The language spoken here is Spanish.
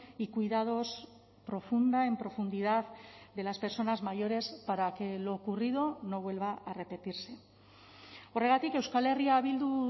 y cuidados profunda en profundidad de las personas mayores para que lo ocurrido no vuelva a repetirse horregatik euskal herria bildu